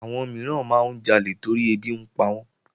Àwọn mìíràn máa ń jalè torí ẹbí ń pawọ́n